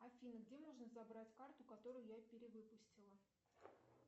афина где можно забрать карту которую я перевыпустила